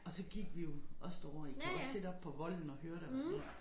Og så gik vi jo også derovre I kan også sidde oppe på volden og høre det og sådan noget